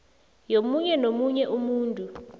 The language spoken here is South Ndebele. yomunye nomunye umuntu